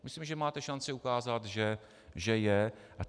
Myslím, že máte šanci ukázat, že je.